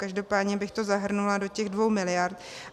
Každopádně bych to zahrnula do těch 2 miliard.